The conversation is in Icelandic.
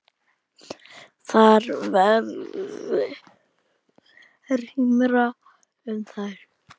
Þar verði rýmra um þær.